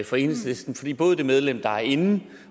for enhedslisten fordi både det medlem der er inde